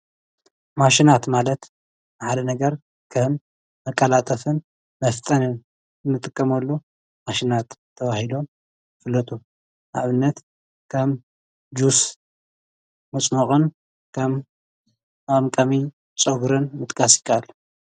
ማሽናት ማለት ንሓደ ነገር ከም መቀላጠፍን መፍተንን እንጥቀመሉ ማሽናት ተባሂሉ ይፍለጥ። ንኣብነት ኸም ጁስ መፅሞቅን ፀጉሪ መቀምቀምን ፀጉርን ምጥቃስ ይከኣል።